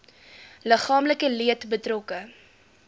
liggaamlike leed betrokke